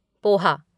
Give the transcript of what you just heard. poha